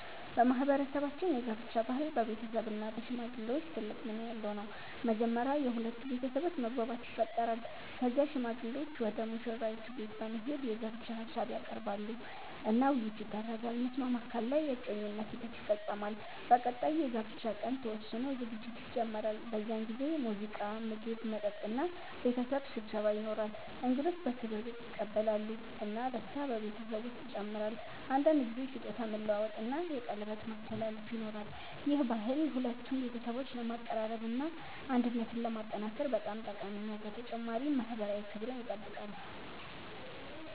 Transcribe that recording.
በማህበረሰባችን የጋብቻ ባህል በቤተሰብ እና በሽማግሌዎች ትልቅ ሚና ያለው ነው። መጀመሪያ የሁለቱ ቤተሰቦች መግባባት ይፈጠራል። ከዚያ ሽማግሌዎች ወደ ሙሽራይቱ ቤት በመሄድ የጋብቻ ሀሳብ ያቀርባሉ እና ውይይት ይደረጋል። መስማማት ካለ የእጮኝነት ሂደት ይፈጸማል። በቀጣይ የጋብቻ ቀን ተወስኖ ዝግጅት ይጀመራል። በዚህ ጊዜ ሙዚቃ፣ ምግብ፣ መጠጥ እና ቤተሰብ ስብሰባ ይኖራል። እንግዶች በክብር ይቀበላሉ እና ደስታ በቤተሰቡ ውስጥ ይጨምራል። አንዳንድ ጊዜ ስጦታ መለዋወጥ እና የቀለበት ማስተላለፍ ይኖራል። ይህ ባህል ሁለቱን ቤተሰቦች ለማቀራረብ እና አንድነትን ለማጠናከር በጣም ጠቃሚ ነው፣ በተጨማሪም ማህበራዊ ክብርን ይጠብቃል።